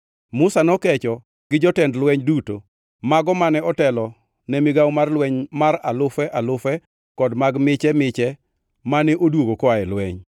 Musa nokecho gi jotend lweny duto; mago mane otelo ne migawo mar lweny mar alufe alufe kod mag miche miche mane odwogo koa e lweny.